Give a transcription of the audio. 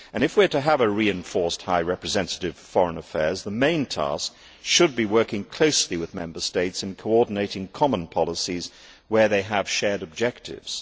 If we are to have a reinforced High Representative for Foreign Affairs, the main task should be working closely with Member States in coordinating common policies where they have shared objectives.